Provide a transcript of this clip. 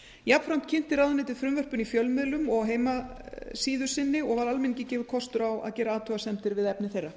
jafnframt kynnti ráðuneytið frumvörpin í fjölmiðlum og á heimasíðu sinni og var almenningi gefinn kostur á að gera athugasemdir við efni þeirra